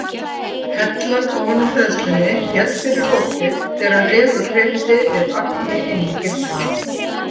Hellan ofan á hleðslunni féll fyrir opið þegar refur hreyfði við agni inni í gildrunni.